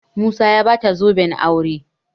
musa ya bata zoben aure